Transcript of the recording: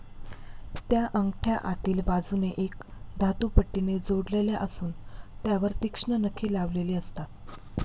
त्या अंगठ्या आतिल बाजुने एक धातूपट्टिने जोडलेल्या असुन त्यावर तीक्ष्ण नखे लावलेली असतात.